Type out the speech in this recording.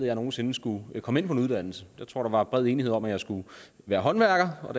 jeg nogensinde skulle komme ind på en uddannelse jeg tror der var bred enighed om at jeg skulle være håndværker og